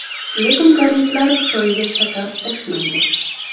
Lekin koreyslar choyga shakar qo‘shmaydi.